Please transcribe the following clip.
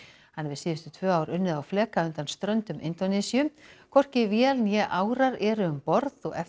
hann hefur síðustu tvö ár unnið á fleka undan ströndum Indónesíu hvorki vél né árar eru um borð og eftir